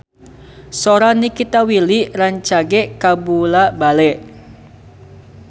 Sora Nikita Willy rancage kabula-bale